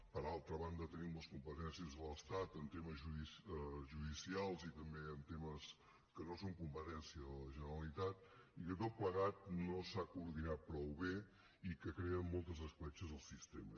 per altra banda tenim les competències de l’estat en temes judicials i també en temes que no són competència de la generalitat i que tot plegat no s’ha coordinat prou bé i que crea moltes escletxes al sistema